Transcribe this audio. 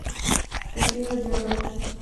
афина деорро